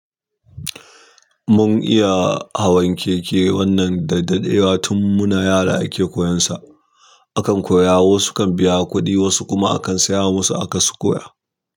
Mun iya hawan keke wannan da daddewa tun muna yara ake koyansa. Akan koya, wasu kan biya kuɗi wasu kuma akan saya wasu aka su koya.